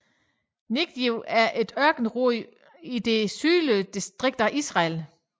Negev er et ørkenområde i det sydlige distrikt af Israel